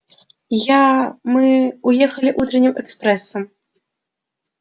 я мы уехали утренним экспрессом